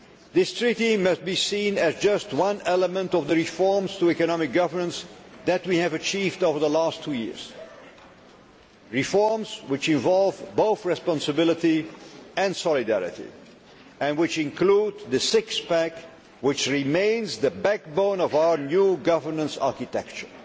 This treaty must be seen as just one element of the reforms to economic governance that we have achieved over the last two years, reforms which involve both responsibility and solidarity, and which include the six pack, which remains the backbone of our new governance architecture.